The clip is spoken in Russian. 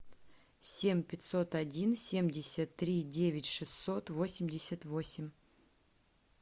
семь пятьсот один семьдесят три девять шестьсот восемьдесят восемь